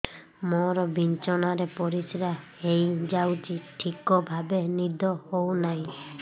ମୋର ବିଛଣାରେ ପରିସ୍ରା ହେଇଯାଉଛି ଠିକ ଭାବେ ନିଦ ହଉ ନାହିଁ